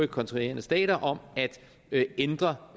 kontraherende stater om at ændre